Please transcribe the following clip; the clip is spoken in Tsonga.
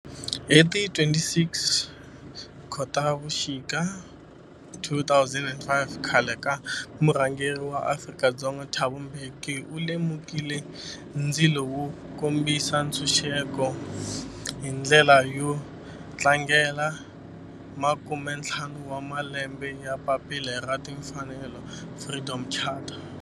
Hi ti 26 Khotavuxika 2005 khale ka murhangeri wa Afrika-Dzonga Thabo Mbeki u lumekile ndzilo wo kombisa ntshuxeko, hi ndlela yo tlangela makumentlhanu wa malembe ya papila ra timfanelo, Freedom Charter.